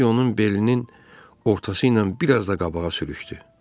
Zərrəciy onun belinin ortası ilə biraz da qabağa sürüxdü.